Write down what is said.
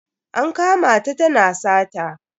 An kama ta tana sata.